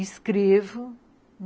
Escrevo.